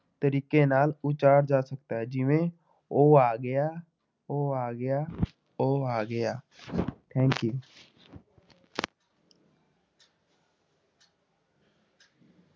ਤਰੀਕੇ ਨਾਲ ਉਚਾਰ ਜਾ ਸਕਦਾ ਹੈ, ਜਿਵੇਂ ਉਹ ਆ ਗਿਆ, ਉਹ ਆ ਗਿਆ ਉਹ ਆ ਗਿਆ thank you